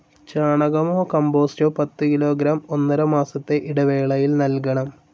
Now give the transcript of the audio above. ചാണകമോ കമ്പോസ്റ്റോ പത്തുകിലോഗ്രാം ഒന്നരമാസത്തെ ഇടവേളയിൽ നൽകണം.